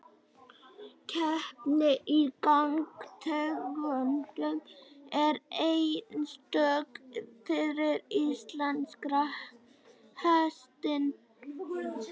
Keppni í gangtegundum er einstök fyrir íslenska hestinn.